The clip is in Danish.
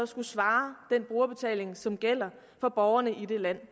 skulle svare den brugerbetaling som gælder for borgerne i det land